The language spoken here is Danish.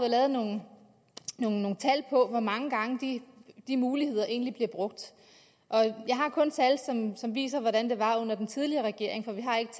lavet nogle tal på hvor mange gange de muligheder egentlig bliver brugt jeg har kun tal som viser hvordan det var under den tidligere regering for vi har ikke